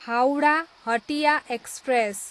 Howrah, Hatia express